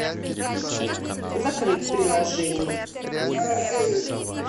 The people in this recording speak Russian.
закрыть приложение